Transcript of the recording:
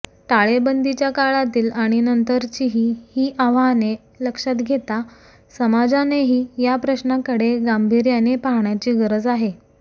टाळेबंदीच्या काळातील आणि नंतरचीही ही आव्हाने लक्षात घेता समाजानेही या प्रश्नाकडे गांभीर्याने पाहण्याची गरज आहे